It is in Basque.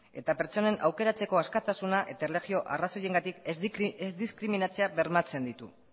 eta pertsonen aukeratzeko askatasuna eta erlijio arrazoiengatik ez diskriminatzea bermatzen ditu